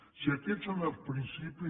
si aquests són els principis